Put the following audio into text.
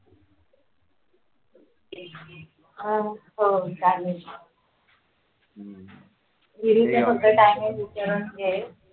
हो चालेल